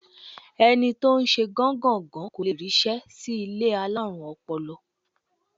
Ẹni tó ń ṣe gán-gàn-gán kò le ríṣẹ́ sí ilé alárùn ọpọlọ.